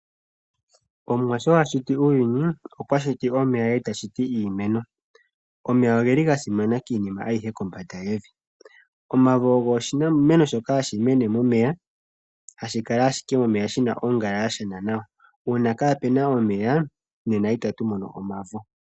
Omwa sho ashiti uuyuni okwashiti omeya eta shiti iimeno. Omeya ogeli gasimana kiinima ayihe kombanda yevi. Omavo ogo oshimeno shoka hashi mene momeya hashi kala ashike momeya shina ongala yashena nawa, uuna kapuna omeya nena itatu mono omavo.